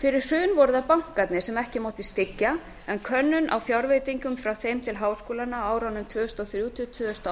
fyrir hrun voru það bankarnir sem ekki mátti styggja en könnun á fjárveitingum frá þeim til háskólanna á árunum tvö þúsund og þrjú til tvö þúsund og